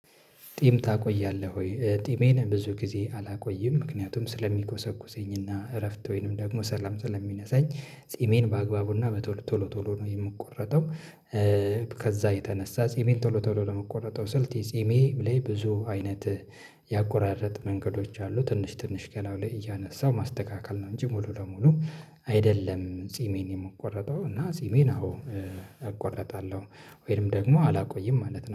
ጢም ታቆያለህ ወይ? ጢሜን ብዙ ጊዜ አላቆይም ምክንያቱም ስለሚኮሰኩሰኝና እረፍት ወይንም ደግሞ ሰላም ሰላም ስለሚነሳኝ ጺሜን በአግባቡና በቶሎ ቶሎ ቶሎ ነው የምቆረጠው። ከዛ የተነሳ ጺሜን ቶሎ ቶሎ ለመቆረጥ ስል ጺሜ ላይ ብዙ አይነት ያቆራረጥ መንገዶች አሉ። ትንሽ ትንሽ ገላው ላይ እያነሳው ማስተካከል ነው እንጂ ሙሉ ለሙሉ አይደለም። ጺሜን የመቆረጠው እና ጺሜን አዎ እቆረጣለሁ ወይም ደግሞ አላቆይም ማለት ነው